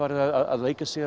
leikið sér